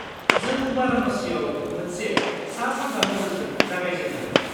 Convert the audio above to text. -जों बाराणसियाव मोनसे सा-सा नोजोरजों जागायजेन्नो हायो।